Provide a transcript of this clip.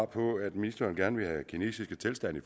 på at ministeren gerne vil have kinesiske tilstande